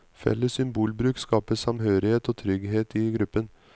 Felles symbolbruk skaper samhørighet og trygghet i gruppen.